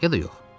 Ya da yox.